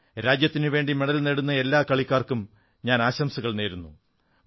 രാജ്യത്തിനുവേണ്ടി മെഡൽ നേടുന്ന എല്ലാ കളിക്കാർക്കും ആശംസകൾ നേരുന്നു